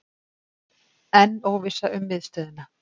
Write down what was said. Enn óvissa um miðstöðina